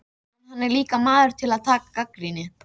En hann er líka maður til að taka gagnrýni.